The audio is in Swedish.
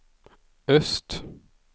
öst